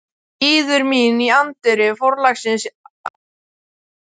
Bíður mín í anddyri forlagsins á tilsettum tíma.